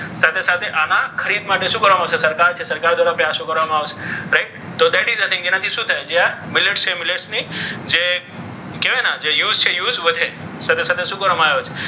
સાથે સાથે આના ખરીદ માટે શું કરવાનું છે? સરકાર છે સરકાર દ્વારા પ્રયાસો કરવામાં આવશે. રાઈટ તો તેનાથી શું થાય જ્યાં millets છે millets ની જે use છે use વધે. સાથે સાથે શું કરવામાં આવે છે?